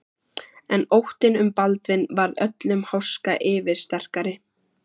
En óttinn um Baldvin varð öllum háska yfirsterkari.